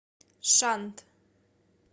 шант